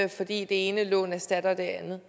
det ene lån erstatter det andet